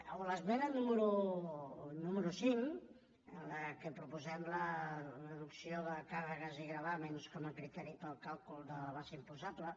o l’esmena número cinc en la que proposem la reducció de càrregues i gravàmens com a criteri per al càlcul de la base imposable